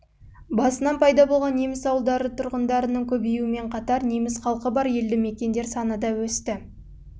басынан пайда болған неміс ауылдары тұрғындарының көбеюімен қатар неміс халқы бар елді мекендер саны да өсті